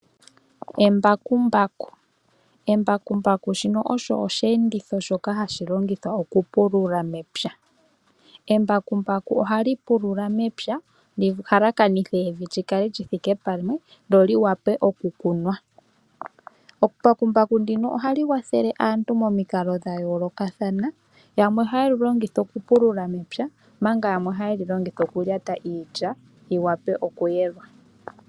Embakumbaku, embakumbaku olyo oshiyenditho hashi longithwa okupulula mepya. Oha li pulula mepya opo li halakanithe evi lyi kale lyi thike pamwe opo lyi wape okukunwa. Ohali kwathele aantu momikalo dha yoolokathana, yamwe oha ye li longitha okupulula mepya na yamwe oha ye li yungulitha iilya opo yi wape okuyelwa.